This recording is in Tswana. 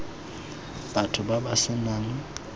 batho ba ba se nang